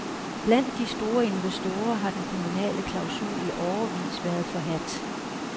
Blandt de store investorer har den kommunale klausul i årevis været forhadt.